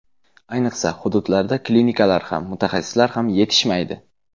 Ayniqsa, hududlarda klinikalar ham, mutaxassislar ham yetishmaydi.